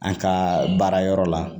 An ka baara yɔrɔ la